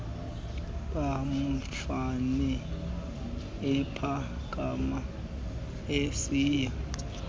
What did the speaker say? mamfene ephakama esiya